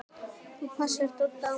ÞÚ PASSAR DODDA Á MEÐAN!